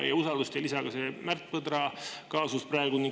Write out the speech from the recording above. Usaldust ei lisa ka see Märt Põdra kaasus praegu.